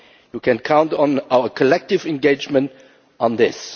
You can count on our collective engagement on this.